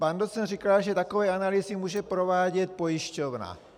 Pan docent říkal, že takové analýzy může provádět pojišťovna.